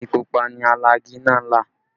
Igi pupa ni alagi náà là